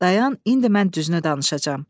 Dayan, indi mən düzünü danışacam.